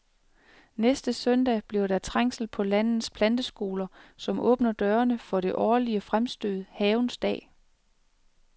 Næste søndag bliver der trængsel på landets planteskoler, som åbner dørene for det årlige fremstød Havens dag.